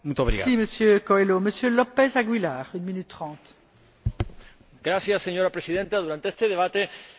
Señora Presidenta, durante este debate hemos hablado de la nueva normativa que mañana sometemos a votación en detalle.